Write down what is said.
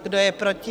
Kdo je proti?